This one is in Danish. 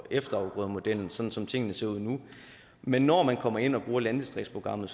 efterafgrødemodellen sådan som tingene ser ud nu men når man kommer ind og bruger landdistriktsprogrammet